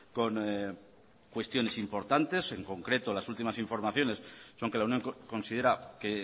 con cuestiones importantes en concreto las últimas informaciones son que la unión considera que